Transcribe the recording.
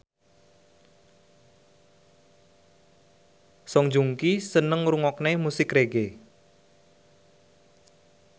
Song Joong Ki seneng ngrungokne musik reggae